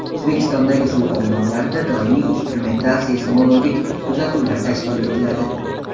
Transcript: O‘zbekistondagi suv omborlarida doimiy instrumental seysmologik kuzatuvlar tashkil etiladi.